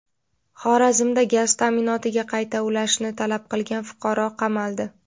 Xorazmda gaz ta’minotiga qayta ulashni talab qilgan fuqaro qamaldi.